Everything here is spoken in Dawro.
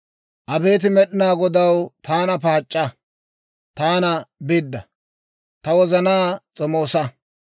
Abeet Med'inaa Godaw, taana paac'c'a, taana bidda; ta wozanaa s'omoosa.